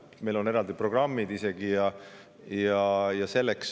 Meil on selleks eraldi programmid.